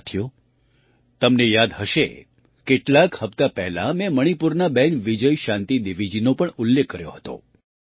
સાથીઓ તમને યાદ હશે કેટલાક હપ્તા પહેલાં મેં મણિપુરનાં બહેન વિજયશાંતિ દેવીજીનો પણ ઉલ્લેખ કર્યો હતો